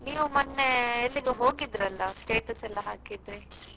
ನೀವು ಮೊನ್ನೆ ಎಲ್ಲಿಗಾ ಹೋಗಿದ್ರಿ ಅಲ್ಲ status ಎಲ್ಲ ಹಾಕಿದ್ರಿ.